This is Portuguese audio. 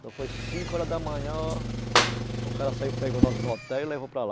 foi cinco horas da manhã, o cara saiu pegou nós no hotel e levou para lá.